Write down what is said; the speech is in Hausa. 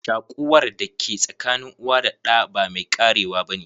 Shakuwar da ke sakanin uwa da ɗa ba mai karewa ba ne.